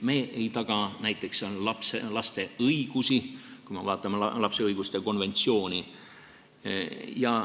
Me ei taga näiteks laste õigusi, kui vaadata lapse õiguste konventsiooni.